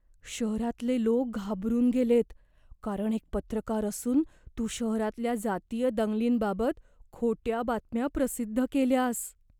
शहरातले लोक घाबरून गेलेत, कारण एक पत्रकार असून तू शहरातल्या जातीय दंगलींबाबत खोट्या बातम्या प्रसिद्ध केल्यास.